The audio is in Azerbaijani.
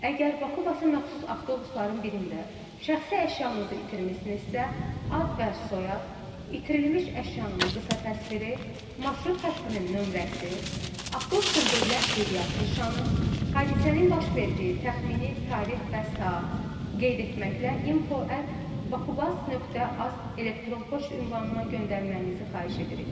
Əgər Bakubasə məxsus avtobusların birində şəxsi əşyanızı itirmisinizsə, ad və soyad, itirilmiş əşyanın qısa təsviri, marşrut xəttinin nömrəsi, avtobusun dövlət qeydiyyat nişanı, hadisənin baş verdiyi təxmini tarix və saatı qeyd etməklə info@bakubas.az elektron poçt ünvanına göndərməyinizi xahiş edirik.